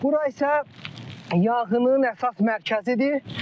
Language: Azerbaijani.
Bura isə yanğının əsas mərkəzidir.